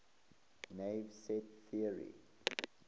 naive set theory